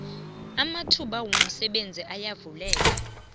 amathuba homsebenzi ayavuleka